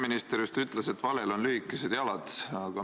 Peaminister just ütles, et valel on lühikesed jalad.